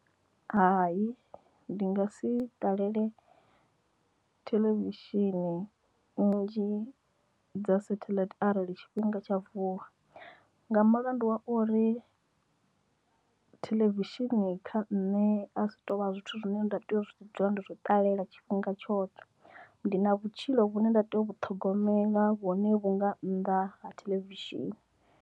Hai ndi nga si ṱalele theḽevishini nnzhi dza satelite arali tshifhinga tsha vuwa nga mulandu wa uri television kha nṋe a si tovha zwithu zwine nda tea u dzula ndo zwo ṱalela tshifhinga tshoṱhe ndi na vhutshilo vhune nda tea u vhu ṱhogomela vhune vhu nga nnḓa ha theḽevishini.